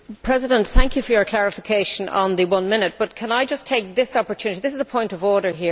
Mr President, thank you for your clarification on the one minute, but can I just take this opportunity a point of order.